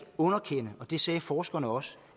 underkende og det sagde forskerne også